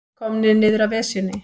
Komnir niður af Esjunni